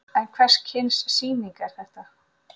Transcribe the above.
En hvers kyns sýning er þetta?